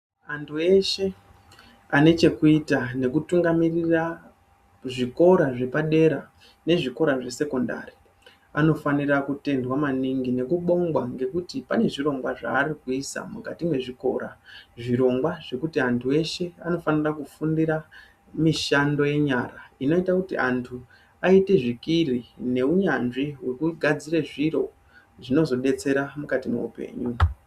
Vantu veshe ,panechekuita nekutungamirira kuzvikora zvepadera nezvikora zvesekondari, vanofanira kutendwa maningi nekubongwa ngekuti pane zvirongwa zvavari kuisa mukati mezvikora. Zvirongwa zvekuti anhu eshe vanofanira kufundira mishando yenyara inoite kuti antu aite zvikiri nehunyanzvi hwekugadzire zviro zvinozodetsera mukati mehupenyu.